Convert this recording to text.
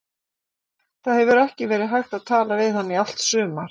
Það hefur ekki verið hægt að tala við hann í allt sumar.